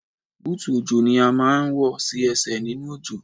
Búùtù òjò ni a máa ń wọ̀ sí Ẹsẹ̀ nínú òjò.